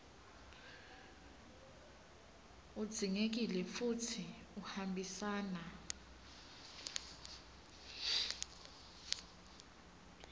udzingekile futsi uhambisana